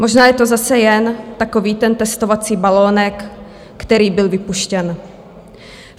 Možná je to zase jen takový ten testovací balonek, který byl vypuštěn.